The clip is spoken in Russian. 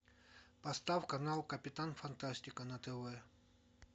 поставь канал капитан фантастика на тв